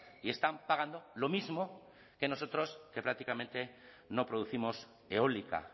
y están pagando lo mismo que nosotros que prácticamente no producimos eólica